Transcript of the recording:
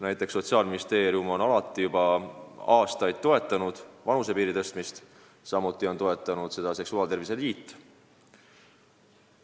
Näiteks Sotsiaalministeerium on juba aastaid toetanud selle vanusepiiri tõstmist, samuti on seda toetanud seksuaaltervise liit.